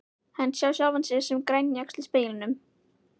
Hann sá sjálfan sig sem grænjaxl í speglinum.